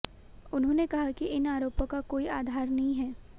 उन्होंने कहा कि इन आरोपों का कोई आधार नहीं है